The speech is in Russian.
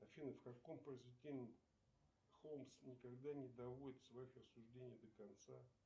афина в каком произведении холмс никогда не доводит своих рассуждений до конца